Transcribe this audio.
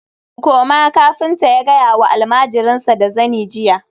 koma! kafinta ya gaya ma almajirinsa da zani jiya